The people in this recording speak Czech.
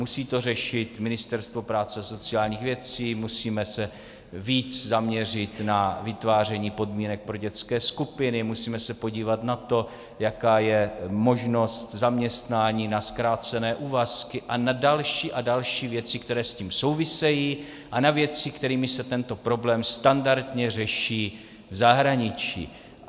Musí to řešit Ministerstvo práce a sociálních věcí, musíme se víc zaměřit na vytváření podmínek pro dětské skupiny, musíme se podívat na to, jaká je možnost zaměstnání na zkrácené úvazky a na další a další věci, které s tím souvisejí, a na věci, kterými se tento problém standardně řeší v zahraničí.